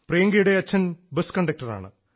പ്രയങ്കയുടെ അച്ഛൻ ബസ് കണ്ടക്ടറാണ്